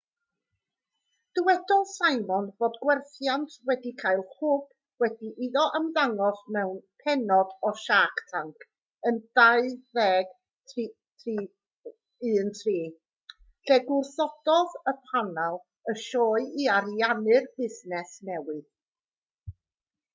dywedodd simon fod gwerthiant wedi cael hwb wedi iddo ymddangos mewn pennod o shark tank yn 2013 lle gwrthododd panel y sioe i ariannu'r busnes newydd